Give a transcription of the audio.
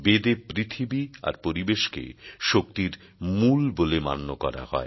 বেদ এ পৃথিবী আর পরিবেশকে শক্তির মূল বলে মান্য করা হয়